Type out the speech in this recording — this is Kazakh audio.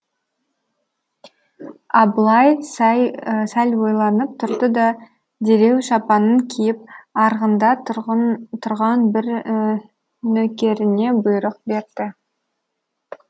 абылай сәл ойланып тұрды да дереу шапанын киіп арғында тұрған бір нөкеріне бұйрық берді